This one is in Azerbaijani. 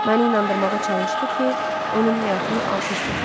Məni inandırmağa çalışdı ki, onun həyatını alt-üst etmişəm.